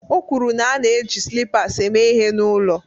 O kwuru na ana-eji slippers eme ihe n'ụlọ